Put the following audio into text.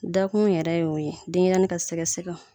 Dakun yɛrɛ ye o ye, denɲɛrɛni ka sɛgɛsɛgɛw.